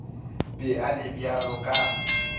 be a le bjalo ka